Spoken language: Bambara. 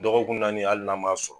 Dɔgɔkun naani ali n'a m'a sɔrɔ.